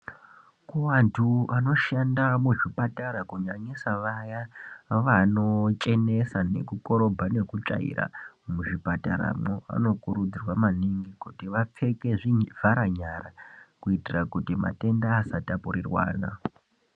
Kuvantu vanoshanda muzvipatara, kunyanyisa vaya vanochenesa nekukorobha nekutsvaira muzvipataramwo, vanokurudzirwa maningi kuti vapfeke zvivharanyara, kuitira kuti matenda asatapurirwana.